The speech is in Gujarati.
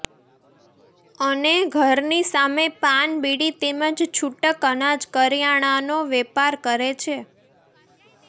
અને ઘરની સામે પાન બીડી તેમજ છૂટક અનાજ કરિયાણાનો વેપાર કરે છે